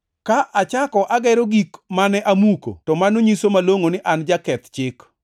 Ka achako agero gik mane amuko, to mano nyiso malongʼo ni an jaketh chik.